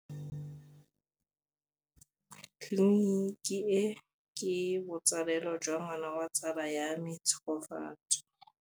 Tleliniki e, ke botsalêlô jwa ngwana wa tsala ya me Tshegofatso.